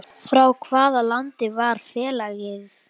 Frá hvaða landi var félagið?